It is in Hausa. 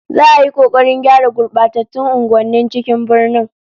Za'a yi kokarin gyara gurbatattun unguwannin cikin birnin